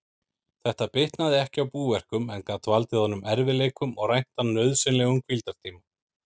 Þetta bitnaði ekki á búverkum, en gat valdið honum erfiðleikum og rænt hann nauðsynlegum hvíldartíma.